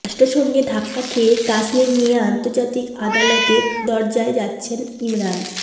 রাষ্ট্রসঙ্ঘে ধাক্কা খেয়ে কাশ্মীর নিয়ে আন্তর্জাতিক আদালতের দরজায় যাচ্ছেন ইমরান